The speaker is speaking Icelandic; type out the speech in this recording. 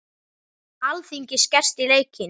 Alþingi skerst í leikinn